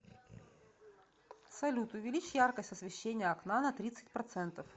салют увеличь яркость освещения окна на тридцать процентов